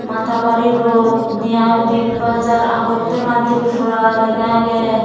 atta baro road near big bazar agot tola tripura lega agey.